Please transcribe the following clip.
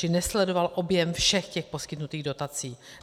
Čili nesledoval objem všech těch poskytnutých dotací.